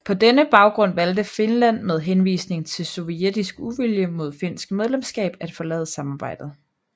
På denne baggrund valgte Finland med henvisning til sovjetisk uvilje mod finsk medlemskab at forlade samarbejdet